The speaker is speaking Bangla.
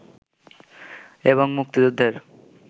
এবং মুক্তিযুদ্ধের